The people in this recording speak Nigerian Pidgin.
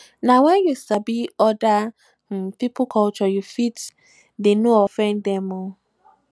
nah when you sabi other um pipo culture you fit dey no offend dem